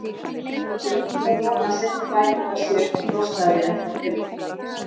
Ég hlýt að vona að seinni bækurnar séu eitthvað þroskaðri en þær fyrri.